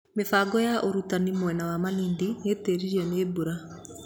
Mĩhang'o ya ũtarani mwena wa Malindi nĩũtĩririo nĩ mbura